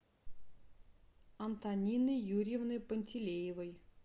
антонины юрьевны пантелеевой